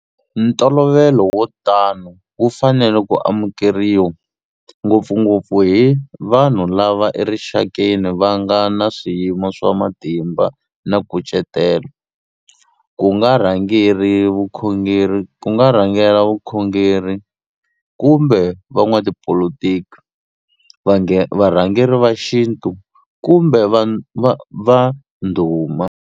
Ntolovelo wo tano wu fanele ku amukeriwa ngopfungopfu hi vanhu lava erixakeni va nga na swiyimo swa matimba na nkucetelo, ku nga rhangela vukhongeri kumbe van'watipolitiki, varhangeri va xintu kumbe vanhu va ndhuma.